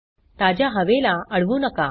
ताज्या हवेला अडवू नका